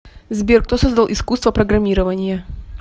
сбер кто создал искусство программирования